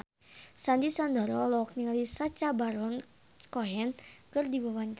Sandy Sandoro olohok ningali Sacha Baron Cohen keur diwawancara